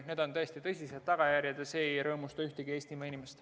Tõesti ei tahaks selliseid tagajärgi, see ei rõõmusta ühtegi Eestimaa inimest.